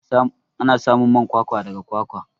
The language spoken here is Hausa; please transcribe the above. Ana samun man kwakwa daga kwakwa.